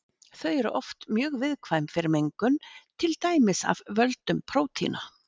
Þau eru oft mjög viðkvæm fyrir mengun til dæmis af völdum prótína.